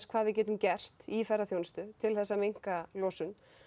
hvað við getum gert í ferðaþjónustu til að minnka losun